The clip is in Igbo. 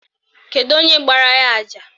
Kedu onye gbara ya àjà?